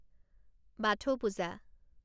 Bathou Puja